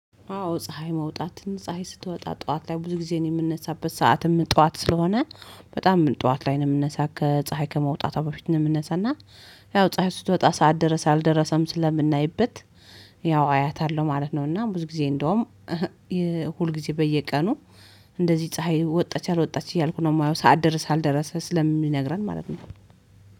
አዎ ፀሀይ መውጣትን ፀሀይ ስትወጣ ጠዋት ላይ ብዙ ጊዜ የምንነሳበት ሰዓትም ጠዋት ስለሆነ በጣም ጠዋት ላይ ነው ምነሳው ከፀሀይ ከመውጣቷ በፊት ነው የምንነሳው እና። ያው ፀሀይ ስትወጣ ሰዓት ደረስ አልደረሰም ስለምናይበት ያው አያታለሁ ማለት ነው። እና ብዙ ጊዜ እንደውም ሁል ጊዜ በየቀኑ እንደዚህ ፀሀይ ወጣች አልወጣች እያልኩ ነው የማየው ሰዓት ደረሰ አልደረሰም ስለምነግረን ማለት ነው።